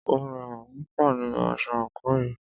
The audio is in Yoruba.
O rẹwà púpọ̀ nínú aṣọ àńkò yìí.